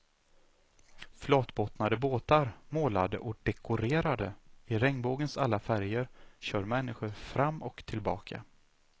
Flatbottnade båtar, målade och dekorerade i regnbågens alla färger, kör människor fram och tillbaka.